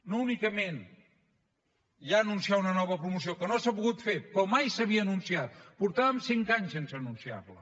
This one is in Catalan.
no únicament ja anunciar una nova promoció que no s’ha pogut fer però mai s’havia anunciat portàvem cinc anys sense anunciar la